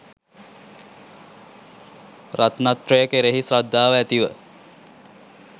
රත්නත්‍රය කෙරෙහි ශ්‍රද්ධාව ඇති ව